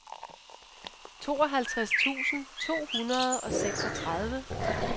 tooghalvtreds tusind to hundrede og seksogtredive